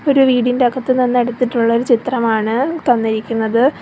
ഒരു വീടിൻ്റെ അകത്ത് നിന്ന് എടുത്തിട്ടുള്ള ഒരു ചിത്രമാണ് തന്നിരിക്കുന്നത്.